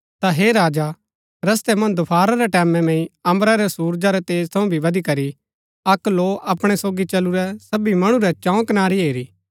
ता हे राजा रस्तै मन्ज दोफारा रै टैमैं मैंई अम्बरा रै सुरजा रै तेज थऊँ भी बदिकरी अक्क लौ अपणै सोगी चलुरै सबी मणु रै चंऊ कनारी हेरी